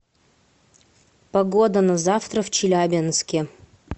погода на завтра в челябинске